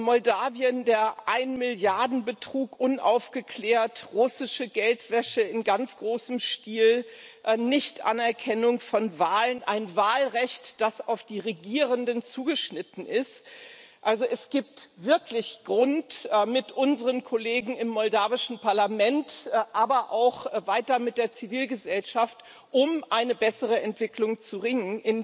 Moldawien der Ein Milliarden Betrug unaufgeklärt, russische Geldwäsche in ganz großem Stil, Nichtanerkennung von Wahlen, ein Wahlrecht, das auf die Regierenden zugeschnitten ist also, es gibt wirklich Grund, mit unseren Kollegen im moldawischen Parlament, aber auch weiter mit der Zivilgesellschaft um eine bessere Entwicklung zu ringen.